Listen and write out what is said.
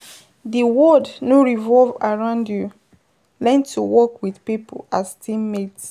Di world no revolve around you, learn to work with pipo as team mate